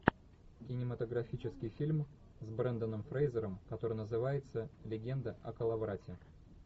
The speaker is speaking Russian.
кинематографический фильм с бренданом фрейзером который называется легенда о коловрате